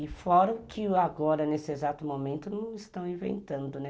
E fora o que agora, nesse exato momento, não estão inventando, né?